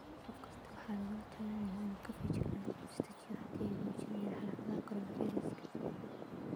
Qof kasta waxaa lagula talinayaa inuu feejignaado oo is dejiyo haddii ay muujiyaan calaamadaha coronavirus.